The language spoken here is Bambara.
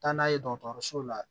Taa n'a ye dɔgɔtɔrɔsow la